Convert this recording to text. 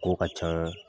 Ko ka ca